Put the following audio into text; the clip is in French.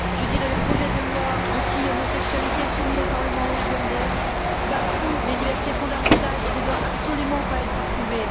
je dirais que le projet de loi anti homosexualité soumis au parlement ougandais bafoue les libertés fondamentales et ne doit absolument pas être approuvé.